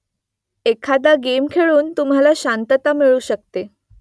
एखादा गेम खेळून तुम्हाला शांतता मिळू शकते